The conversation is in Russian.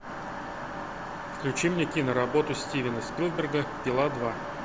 включи мне киноработу стивена спилберга пила два